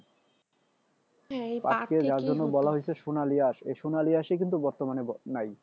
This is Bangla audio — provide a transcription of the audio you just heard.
সোনালি আঁশ এই সোনালি আঁশই কিন্তু বর্তমানে নাই